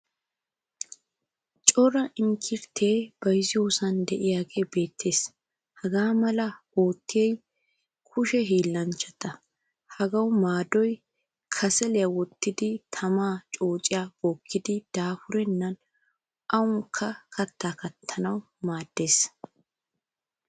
Cora inkkirityaa bayzziyosan deiage beetees. Hagamala ootiyay kushiyaa hiilanchchata. Hagaawu maaddoy kasaliyaa wottidi tamaa coociyaa bookkidi dafurenan awankka katta kattanawu maaddees.